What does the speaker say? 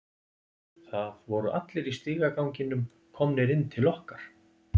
Það voru allir í stigaganginum komnir inn til okkar.